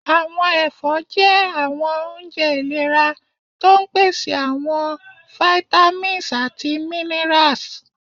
Àwọn ẹfọ́ jẹ́ àwọn oúnjẹ iléra, tó ń pèsè àwọn àwọn vitamins àti minerals.